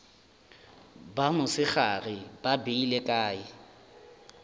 ba mosegare ba beile kae